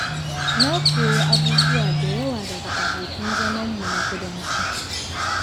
Na koyi abubuwa da yawa daga abokan zamanmu na kudanci.